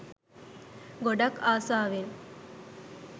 ගොඩක් ආසාවෙන්